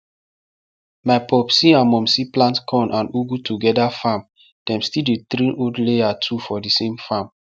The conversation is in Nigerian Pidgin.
my popsi and mumsi plant corn and ugu together farm dem still dey train old layer too for thesame farm